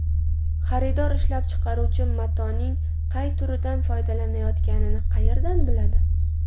Xaridor ishlab chiqaruvchi matoning qay turidan foydalanayotganini qayerdan biladi?